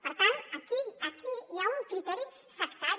per tant aquí hi ha un criteri sectari